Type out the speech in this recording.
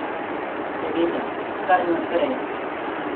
Seveda, kar naprej.